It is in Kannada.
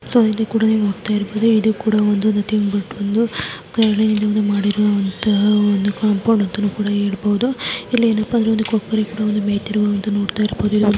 ಸೊ ಇಲ್ಲಿ ಕೂಡ ನೀವ್ ನೋಡತಾಇರಬಹುದು ಇದು ಕೂಡ ಒಂದು ನಥಿಂಗ್ ಬಟ್ ಒಂದು ಮಾಡಿರುವಂತಹ ಒಂದು ಕಾಂಪೌಂಡ್ ಅಂತಾನೂ ಕೂಡ ಹೇಳಬಹುದು ಇಲ್ಲಿ ಏನಪ್ಪಾ ಅಂದ್ರೆ ಒಂದು ಕೊಕ್ಕರೆ ಕೂಡ ಬಂದು ಮೈಯುತ್ತಿರುವುದನ್ನು ಕೂಡ ನೋಡತಾ ಇರಬಹುದು.